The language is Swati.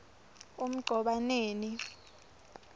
emgcobaneni